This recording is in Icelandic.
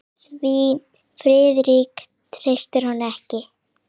Því Friðrik treysti honum ekki.